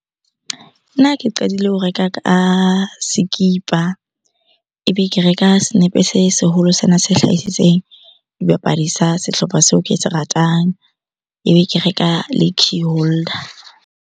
Nna ke qadile ho reka ka sekipa, ebe ke reka senepe se seholo sena se hlahisitsweng dibapadi sa sehlopha seo ke se ratang. Ebe ke reka le key holder.